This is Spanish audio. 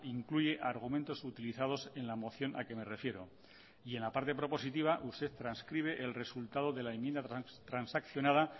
incluye argumentos utilizados en la moción a que me refiero y en la parte propositiva usted transcribe el resultado de la enmienda transaccionada